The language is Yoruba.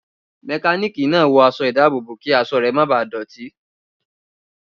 Mẹkánìkì náà wọ aṣọ ìdábòbò kí aṣọ rẹ ma bà le dọ̀tí